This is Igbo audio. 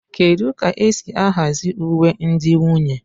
Kedu ka esi ahazi uwe ndị nwunye?